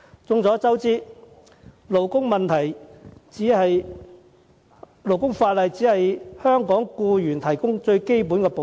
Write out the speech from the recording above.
眾所周知，勞工法例只為香港僱員提供最基本的保障。